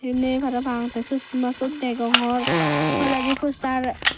benney parapang tey sosma siot degong toledi postar.